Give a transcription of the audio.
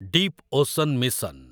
deep ocean mission